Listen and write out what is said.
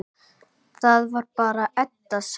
Það var bara Edda sem.